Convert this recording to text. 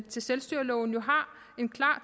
til selvstyrelov jo har en klar